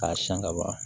K'a siyɛn ka ban